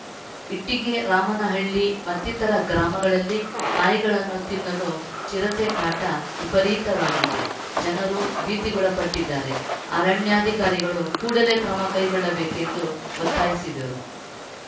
ಇಟ್ಟಿಗೆ ರಾಮನಹಳ್ಳಿ ಮತ್ತಿತರ ಗ್ರಾಮಗಳಲ್ಲಿ ನಾಯಿಗಳನ್ನು ತಿನ್ನಲು ಚಿರತೆ ಕಾಟ ವಿಪರೀತವಾಗಿದೆ ಜನರು ಭೀತಿಗೊಳಪಟ್ಟಿದ್ದಾರೆ ಅರಣ್ಯಾಧಿಕಾರಿಗಳು ಕೂಡಲೇ ಕ್ರಮ ಕೈಗೊಳ್ಳಬೇಕೆಂದು ಒತ್ತಾಯಿಸಿದರು